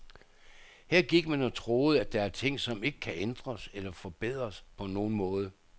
Her gik man og troede, at der er ting, som ikke kan ændres eller forbedres på nogen måde.